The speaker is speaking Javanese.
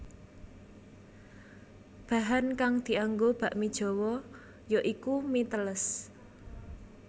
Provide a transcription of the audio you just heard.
Bahan kang dianggo bakmi Jawa ya iku mi teles